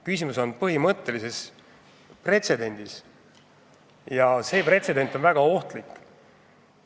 Küsimus on põhimõttelises pretsedendis ja see pretsedent on väga ohtlik.